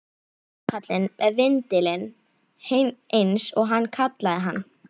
Járnkallinn með vindilinn, eins og hann kallaði hann.